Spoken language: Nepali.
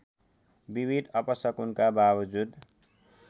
विविध अपशकुनका बाबजुद